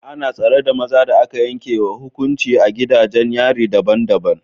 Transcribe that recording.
Ana tsare da maza da aka yanke wa hukuncin a gidajen yari daban-daban